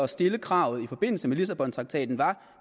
stille kravet i forbindelse med lissabontraktaten var